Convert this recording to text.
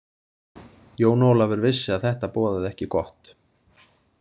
Jón Ólafur vissi að þetta boðaði ekki gott.